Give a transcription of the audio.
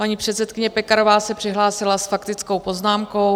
Paní předsedkyně Pekarová se přihlásila s faktickou poznámkou.